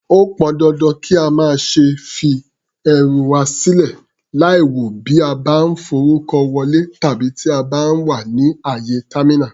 Ó pọn dandan kí a má ṣe fi ẹrù wà sílè láìwò bí a bá ń forúkọ wọlé tàbí tí a bá wà ní àyè támínà.